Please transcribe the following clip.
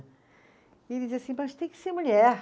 E ele dizia assim, mas tem que ser mulher.